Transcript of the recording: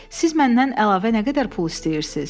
Siz məndən əlavə nə qədər pul istəyirsiz?